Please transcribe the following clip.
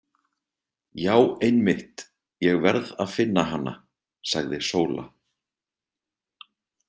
Já einmitt, ég verð að finna hana, sagði Sóla.